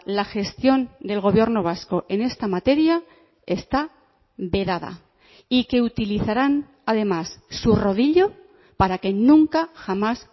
la gestión del gobierno vasco en esta materia está vedada y que utilizarán además su rodillo para que nunca jamás